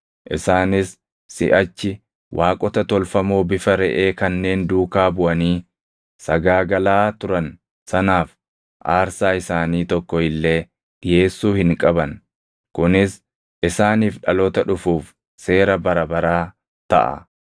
Isaanis siʼachi waaqota tolfamoo bifa reʼee kanneen duukaa buʼanii sagaagalaa turan sanaaf aarsaa isaanii tokko illee dhiʼeessuu hin qaban; kunis isaaniif dhaloota dhufuuf seera bara baraa taʼa.’